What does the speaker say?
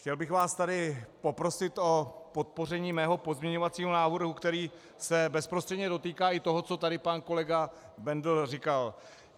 Chtěl bych vás tady poprosit o podpoření svého pozměňovacího návrhu, který se bezprostředně dotýká i toho, co tady pan kolega Bendl říkal.